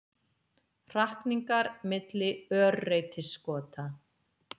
Hrakningar milli örreytiskota.